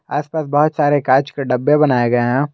आस पास बहोत सारे कांच के डब्बे बनाए गए हैं।